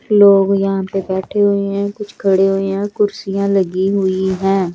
लोग यहां पे बैठे हुए हैं कुछ खड़े हु है कुर्सियां लगी हुई है।